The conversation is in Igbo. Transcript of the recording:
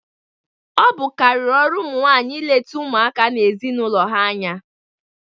Ọ bụ karịrị ọrụ ụmụ nwanyị ịleta ụmụaka na ezinaụlọ ha anya